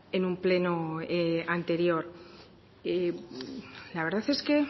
en un pleno anterior la verdad es que